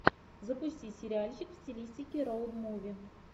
запусти сериальчик в стилистике роуд муви